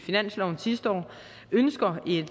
finansloven sidste år ønsker vi